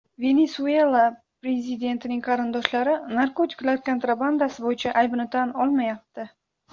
Venesuela prezidentining qarindoshlari narkotiklar kontrabandasi bo‘yicha aybini tan olmayapti.